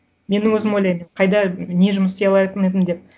мен өзім ойлаймын қайда не жұмыс істей алатын едім деп